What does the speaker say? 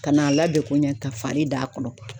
Ka n'a ladon ko ɲɛ ka fari da kɔnɔ.